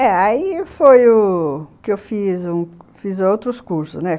É, aí foi u que eu fiz outros cursos, né